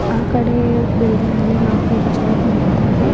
ಆ ಕಡೆ ಬಿಲ್ಡಿಂಗ್ ಮೇಲೆ ನಾಲ್ಕೈದು ಜನರು ನಿಂತಿದ್ದಾರೆ.